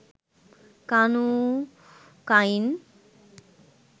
কানু কাইন